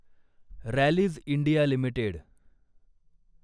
Rallis India limited